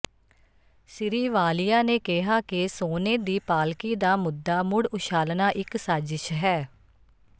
ਸ੍ਰੀ ਵਾਲੀਆ ਨੇ ਕਿਹਾ ਕਿ ਸੋਨੇ ਦੀ ਪਾਲਕੀ ਦਾ ਮੁੱਦਾ ਮੁੜ ਉਛਾਲਣਾ ਇਕ ਸਾਜ਼ਿਸ਼ ਹੈ